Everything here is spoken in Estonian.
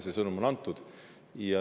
See sõnum on antud.